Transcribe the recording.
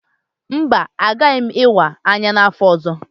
Mba, agaghị m ịwa anya n'afọ ọzọ.